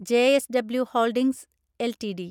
JSW holdings LTD